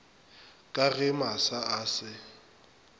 ka ge masa a se